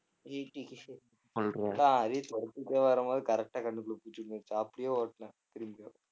அதையும் தொரத்திட்டே வரும்போது correct ஆ கண்டுபுடிச்சிருச்சு நேத்து அப்படியே ஓட்டுனேன்